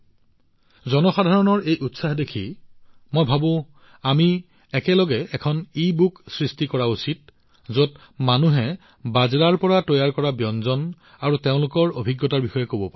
জনসাধাৰণৰ এই উৎসাহ দেখি মই ভাবোঁ আমি একেলগে এখন ইবুক প্ৰস্তুত কৰা উচিত যত মানুহে বাজৰাৰ পৰা তৈয়াৰ কৰা ব্যঞ্জন আৰু তেওঁলোকৰ অভিজ্ঞতা ভাগবতৰা কৰিব পাৰে